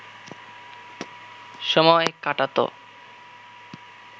সময় কাটাত